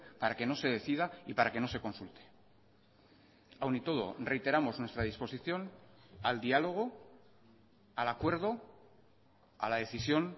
para que no se decida y para que no se consulte aun y todo reiteramos nuestra disposición al diálogo al acuerdo a la decisión